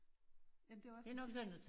Ja men det er jo også det jeg siger